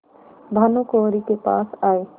भानुकुँवरि के पास आये